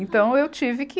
Então, eu tive que